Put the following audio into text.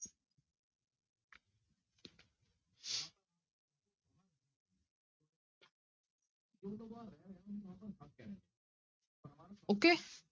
Okay